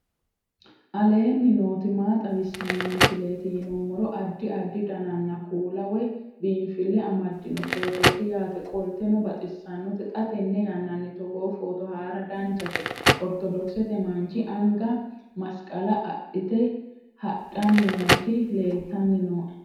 aleenni nooti maa xawisanno misileeti yinummoro addi addi dananna kuula woy biinfille amaddino footooti yaate qoltenno baxissannote xa tenne yannanni togoo footo haara danchate ortodokisete manchi anga masiqale adhite hadhanni nooti leeltanni nooe